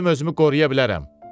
özüm özümü qoruya bilərəm.